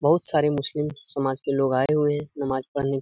बहुत सारे मुस्लिम समाज के लोग आये हुए हैं। नमाज पढने --